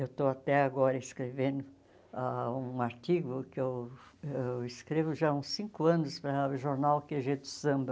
Eu estou até agora escrevendo ah um artigo que eu eu escrevo já há uns cinco anos para o jornal quê gê do Samba.